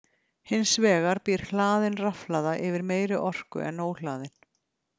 Hins vegar býr hlaðin rafhlaða yfir meiri orku en óhlaðin.